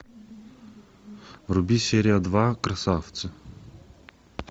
вруби серия два красавцы